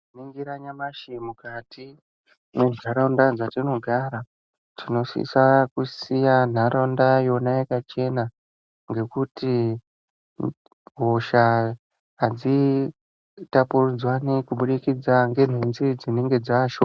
Tikaningira nyamashi mukati mwentaraunda dzatinogara tinosisa kusiya nharaunda yona yakachena ngekuti hosha hadzitapuridzanwi kubudikidza nenhunzi dzinenge dzaashoma.